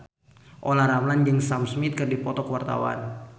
Olla Ramlan jeung Sam Smith keur dipoto ku wartawan